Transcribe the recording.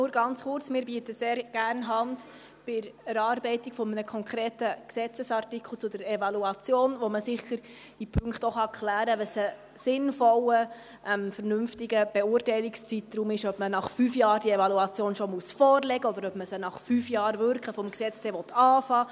Nur ganz kurz: Wir bieten sehr gerne Hand bei der Erarbeitung eines konkreten Gesetzesartikels zur Evaluation, bei der man sicher in Punkten auch klären kann, was ein sinnvoller, vernünftiger Beurteilungszeitpunkt ist, ob man nach fünf Jahren diese Evaluation schon vorlegen muss, oder ob man sie fünf Jahre nach Wirken des Gesetzes beginnen will.